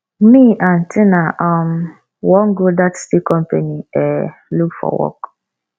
me and tina um wan go that steel company um look for work